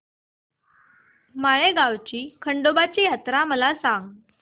माळेगाव ची खंडोबाची यात्रा मला सांग